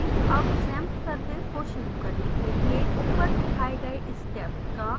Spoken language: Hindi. अब xampp service को शुरू करने के लिए ऊपर दिखाए गए steps का अनुकरण करें